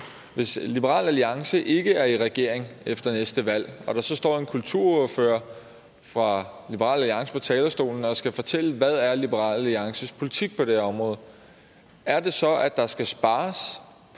hvis liberal alliance ikke er i regering efter næste valg og der så står en kulturordfører for liberal alliance på talerstolen som skal fortælle hvad liberal alliances politik er på det her område er det så at der skal spares